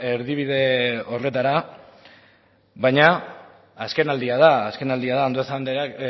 erdibide horretara baina azken aldia da azken aldia da andueza